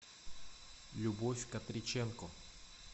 любовь катриченко